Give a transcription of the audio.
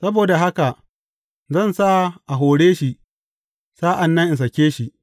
Saboda haka, zan sa a hore shi, sa’an nan in sāke shi.